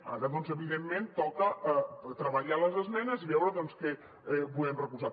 ara doncs evidentment toca treballar les esmenes i veure doncs què podem recolzar